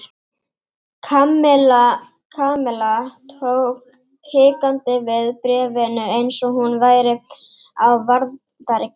Kamilla tók hikandi við bréfinu eins og hún væri á varðbergi.